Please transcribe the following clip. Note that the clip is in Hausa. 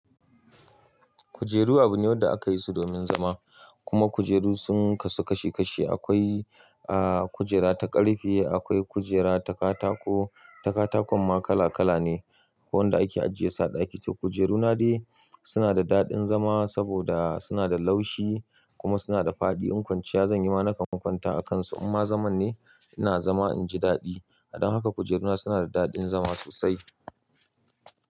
Kujeru abu ne wanda aka yi su domin zama. Kuma kujeru sun kasu kashi kashi, akwai a kujera ta ƙarfe, akwai kujera ta katako, ta katakon ma kala kala ne. Akwai wanda ake ajiye so a ɗaki to kujeru na dai suna da daɗin zama saboda suna da laushi kuma suna da fadi. In kwanciya zan yi ma na kan kwanta a kansu imma zaman ne ina zama inji daɗi. Don haka kujeruna suna da daɗin zama sosai.